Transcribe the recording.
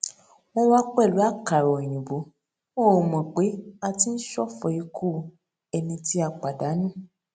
wón wá pèlú àkàrà òyìnbó wọn ò mò pé a ti ń ṣòfò ikú ẹni tí a pàdánù